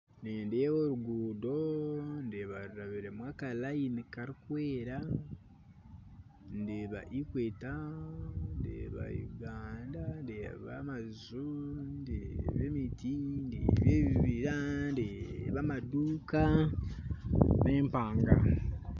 Nindeeba orugundo ndeeba rurabiremu akarayini karikwera ndeeba equator ndeeba Uganda ndeeba amaju ndeeba emiti ndeeba ebibira ndeeba amaduuka n'empanga